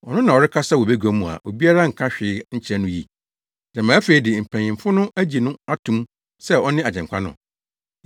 Ɔno na ɔrekasa wɔ bagua mu a obiara nka hwee nkyerɛ no yi! Gyama afei de mpanyimfo no agye no ato mu sɛ ɔne Agyenkwa no?